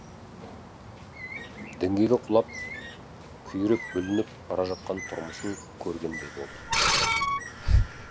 діңгегі құлап күйреп бүлініп бара жатқан тұрмысын көргендей болды